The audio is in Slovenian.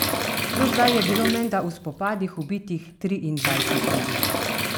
Do zdaj je bilo menda v spopadih ubitih triindvajset ljudi.